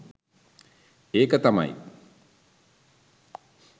ඒක තමයි